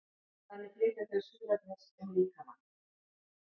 þannig flytja þau súrefnis um líkamann